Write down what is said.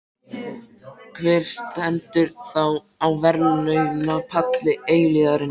Hver stendur þá á verðlaunapalli eilífðarinnar?